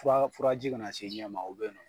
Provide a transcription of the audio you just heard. Fura furaji ka na se ɲɛ ma u bɛ ye.